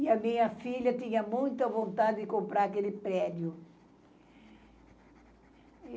E a minha filha tinha muita vontade de comprar aquele prédio.